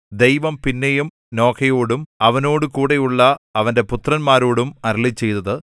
ദൈവം പിന്നെയും നോഹയോടും അവനോടുകൂടെയുള്ള അവന്റെ പുത്രന്മാരോടും അരുളിച്ചെയ്തത്